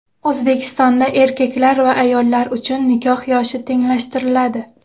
O‘zbekistonda erkaklar va ayollar uchun nikoh yoshi tenglashtiriladi .